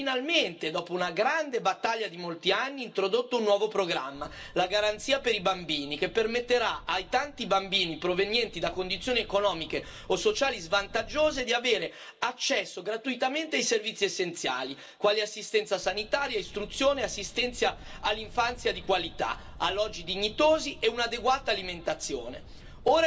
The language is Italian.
Abbiamo finalmente, dopo una grande battaglia di molti anni, introdotto un nuovo programma, la garanzia per i giovani che permetterà ai tanti giovani provenienti da condizioni economiche o sociali svantaggiose di avere accesso gratuitamente ai servizi essenziali, quali assistenza sanitaria, istruzione, assistenza all'infanzia di qualità, alloggi dignitosi e un'adeguata alimentazione.